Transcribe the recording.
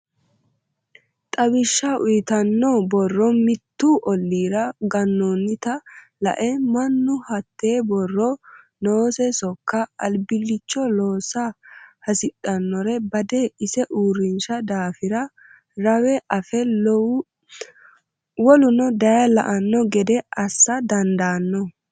Xawishsha uyittano borro mitu ollira ganonitta lae mannu hete borrote noose sokka albilicho loosa hasidhanore bade ise uurrisha daafira rawe afe woluno daye la'ano gede assa dandaano